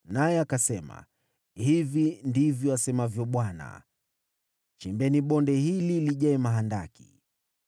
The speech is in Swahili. naye akasema, “Hivi ndivyo asemavyo Bwana , ‘Chimbeni bonde hili lijae mahandaki.’